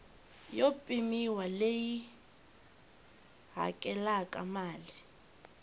yo pimiwa leyi hakelaka mali